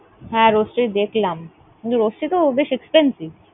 হ্যাঁ, Roastery দেখলাম, কিন্তু Roastery তো বেশ expensive ।